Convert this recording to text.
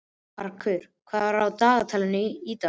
Karkur, hvað er í dagatalinu í dag?